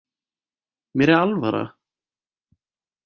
Mér er alvara